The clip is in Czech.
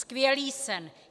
Skvělý sen.